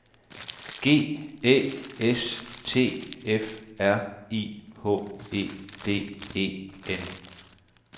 G Æ S T F R I H E D E N